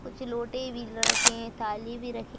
कुछ लोटे भी रखे हैं थाली भी रखी --